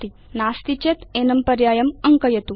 नास्ति चेत् एनं पर्यायम् अङ्कयतु